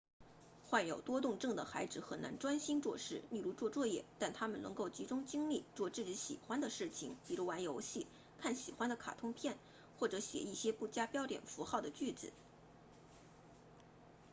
患有多动症的孩子很难专心做事例如做作业但他们能够集中精力做自己喜欢的事情比如玩游戏看喜欢的卡通片或者写一些不加标点符号的句子